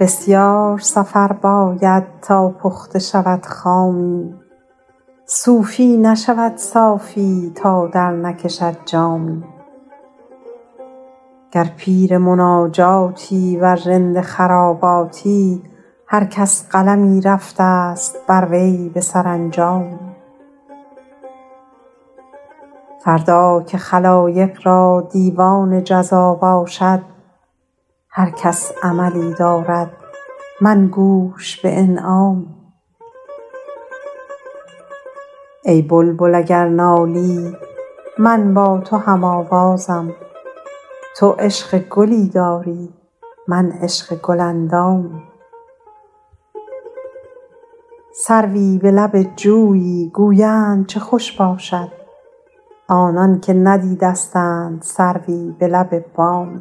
بسیار سفر باید تا پخته شود خامی صوفی نشود صافی تا درنکشد جامی گر پیر مناجات است ور رند خراباتی هر کس قلمی رفته ست بر وی به سرانجامی فردا که خلایق را دیوان جزا باشد هر کس عملی دارد من گوش به انعامی ای بلبل اگر نالی من با تو هم آوازم تو عشق گلی داری من عشق گل اندامی سروی به لب جویی گویند چه خوش باشد آنان که ندیدستند سروی به لب بامی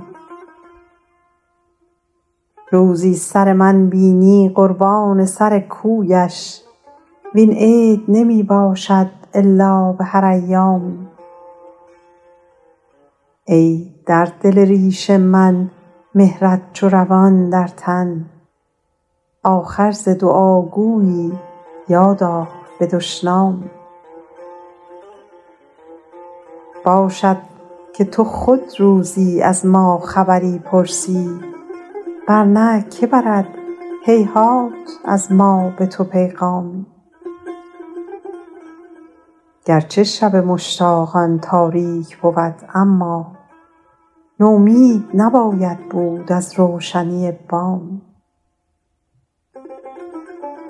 روزی تن من بینی قربان سر کویش وین عید نمی باشد الا به هر ایامی ای در دل ریش من مهرت چو روان در تن آخر ز دعاگویی یاد آر به دشنامی باشد که تو خود روزی از ما خبری پرسی ور نه که برد هیهات از ما به تو پیغامی گر چه شب مشتاقان تاریک بود اما نومید نباید بود از روشنی بامی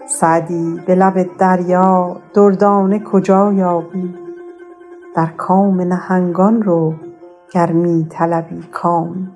سعدی به لب دریا دردانه کجا یابی در کام نهنگان رو گر می طلبی کامی